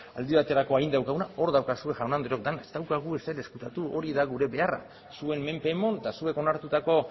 aldi baterako eginda daukaguna hor daukazue jaun andreok dena ez daukagu ezer ezkutatu hori da gure beharra zuen menpe eman eta zuek onartutako